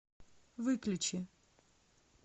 выключи